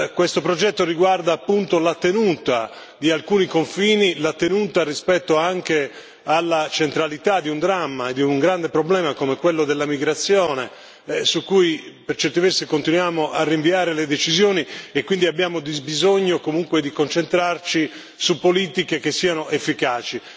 Questo progetto riguarda appunto la tenuta di alcuni confini, la tenuta rispetto anche alla centralità di un dramma, di un grande problema come quello della migrazione, su cui, per certi versi, continuiamo a rinviare le decisioni, e quindi abbiamo bisogno comunque di concentrarci su politiche che siano efficaci.